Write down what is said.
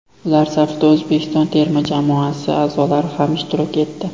Ular safida O‘zbekiston terma jamoasi a’zolari ham ishtirok etdi.